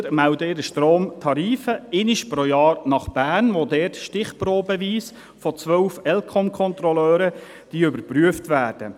Die Stromverteiler melden ihre Stromtarife einmal pro Jahr nach Bern, wo sie von 12 ElCom-Kontrolleuren stichprobenweise überprüft werden.